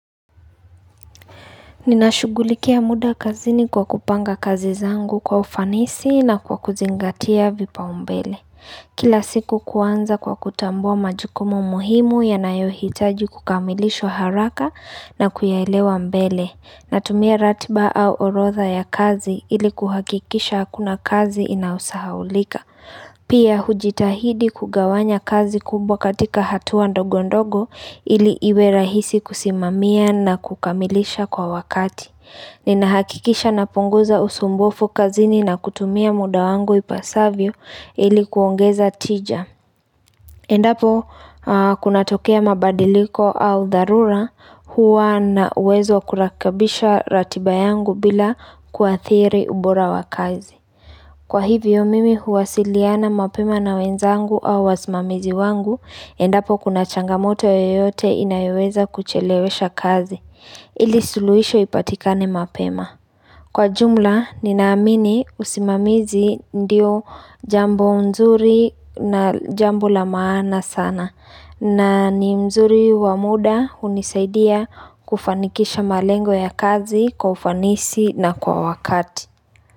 Ninashughulikia muda kazini kwa kupanga kazi zangu kwa ufanisi na kwa kuzingatia vipaumbele. Kila siku kuanza kwa kutambua majukumu muhimu yanayohitaji kukamilishwa haraka na kuyaelewa mbele. Natumia ratiba au orodha ya kazi ili kuhakikisha hakuna kazi inayosahaulika. Pia hujitahidi kugawanya kazi kubwa katika hatua ndogo ndogo ili iwe rahisi kusimamia na kukamilisha kwa wakati Ninahakikisha napunguza usumbufu kazini na kutumia muda wangu ipasavyo ili kuongeza tija Endapo kunatokea mabadiliko au dharura huwa na uwezo wa kurekebisha ratiba yangu bila kuathiri ubora wa kazi Kwa hivyo mimi huwasiliana mapema na wenzangu au wasimamizi wangu, endapo kuna changamoto yoyote inayoweza kuchelewesha kazi, ili suluhisho ipatikane mapema. Kwa jumla, ninaamini usimamizi ndio jambo nzuri na jambo la maana sana, na ni mzuri wa muda hunisaidia kufanikisha malengo ya kazi kwa ufanisi na kwa wakati.